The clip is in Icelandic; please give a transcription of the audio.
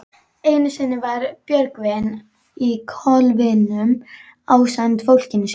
Einu sinni var Björgvin í kolavinnu ásamt fólkinu mínu.